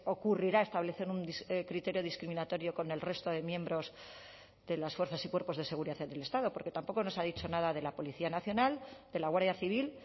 ocurrirá establecer un criterio discriminatorio con el resto de miembros de las fuerzas y cuerpos de seguridad del estado porque tampoco nos ha dicho nada de la policía nacional de la guardia civil